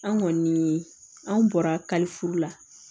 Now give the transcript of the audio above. An kɔni an bɔra ka furu la